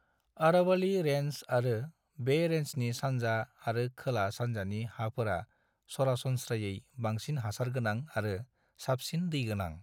Aravalli range आरो बे रेन्जनि सानजा आरो खोला-सान्जानि हाफोरा सरासनस्रायै बांसिन हासारगोनां आरो साबसिन दै गोनां।